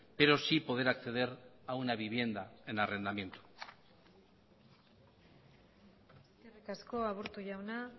pero sí poder acceder a una vivienda en arrendamiento eskerrik asko aburto jauna